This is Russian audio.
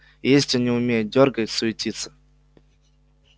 и ездить он не умеет дёргает суетится